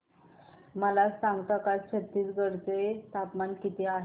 मला सांगता का छत्तीसगढ चे तापमान किती आहे